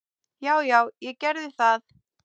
Já, já, ég gerði það.